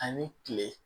Ani kile